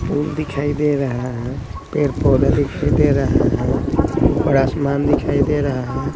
फूल दिखाई दे रहा हैं पेड़ पौधा दिखाई दे रहा हैं ऊपर आसमान दिखाई दे रहा हैं।